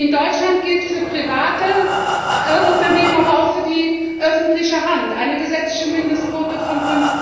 In Deutschland gilt für private Unternehmen, aber auch für die öffentliche Hand, eine gesetzliche Mindestquote von